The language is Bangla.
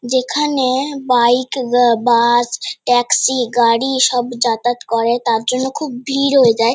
যেখানে-এ বাইক গ বাস ট্যাক্সি গাড়ি সব যাতাত করে তার জন্য খুব ভিড় হয়ে যায়।